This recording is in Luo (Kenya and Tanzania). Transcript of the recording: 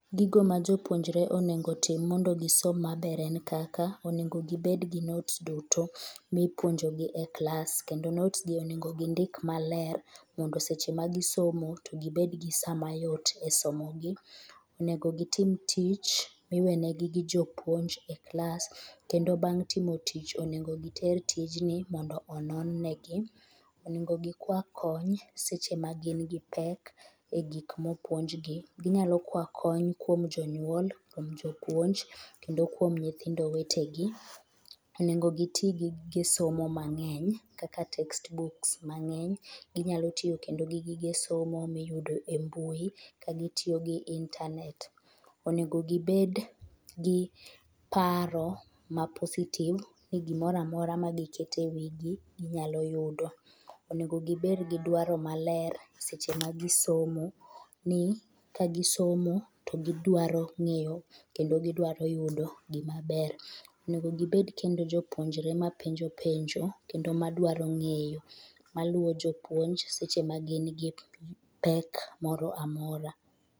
Gigo ma jopuonjre onego otim mondo gisom maber en kaka onego gibed gi notes duto mipuonjo gi e klas kendo notes gi onego gindik maler mondo ka gisomo to gibed gi samayot e somogi. Onego gitim tich miwenegi gi jopuonj e klas kendo bang' timo tich, onego giter tijni mondo onon negi, onego gikwa kony seche magin gi pek e gik egik mopuonjgi. Ginyalo kwayo kony kuom jonyuol, kuom jopuonj kendo kuom nyithindo wetegi. Onego giti gi gige somo mang'eny kaka text books mang'eny, ginyalo tiyo kendo gi gige somo miyudo e mbui ka gitiyo gi internet, onego gibed gi paro ma positive, e gimoro amora magiketo ewigi ginyalo yudo. Onego gibed gi dwaro maler seche ma gisomo, ni kagisomo to gidwaro ng'eyo kendo gidwaro yudo hgimaber . Onego gibed kendo jopuonjre mapenjo penjo kendo madwaro ng'eyo, ma luwo jopuonj seche magin gi pek moro amora.